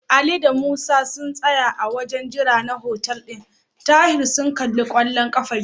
Ali da Musa sun tsaya a wajen jira na hotel ɗin Tahir sun kalli kwallon ƙafa jiya.